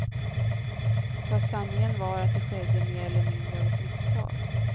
Fast sanningen var att det skedde mer eller mindre av ett misstag.